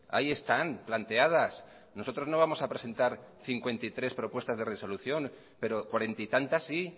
ahí están planteadas nosotros no vamos a presentar cincuenta y tres propuestas de resolución pero cuarenta y tantas sí